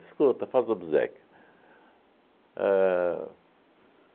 Escuta, faz o obséquio. Ãh